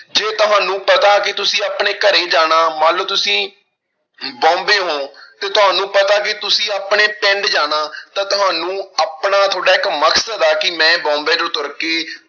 ਜੇ ਤੁਹਾਨੂੰ ਪਤਾ ਕਿ ਤੁਸੀਂ ਆਪਣੇ ਘਰੇ ਜਾਣਾ, ਮੰਨ ਲਓ ਤੁਸੀਂ ਬੋਂਬੇ ਹੋ ਤੇ ਤੁਹਾਨੂੰ ਪਤਾ ਕਿ ਤੁਸੀਂ ਆਪਣੇ ਪਿੰਡ ਜਾਣਾ ਤਾਂ ਤੁਹਾਨੂੰ ਆਪਣਾ ਤੁਹਾਡਾ ਇੱਕ ਮਕਸਦ ਆ ਕਿ ਮੈਂ ਬੋਂਬੇ ਤੋਂ ਤੁਰ ਕੇ